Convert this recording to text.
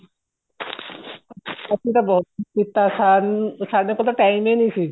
ਅਸੀਂ ਤਾਂ ਬਹੁਤ ਕੁੱਝ ਕੀਤਾ ਸਾਡੇ ਕੋਲ ਤਾਂ time ਹੀ ਨਹੀਂ ਸੀ